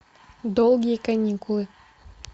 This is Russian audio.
долгие каникулы